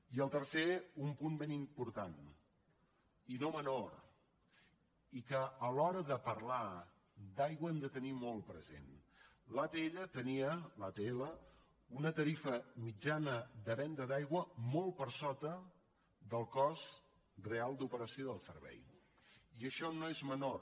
i el tercer un punt ben important i no menor i que a l’hora de parlar d’aigua hem de tenir molt present l’atll tenia una tarifa mitjana de venda d’aigua molt per sota del cost real d’operació del servei i això no és menor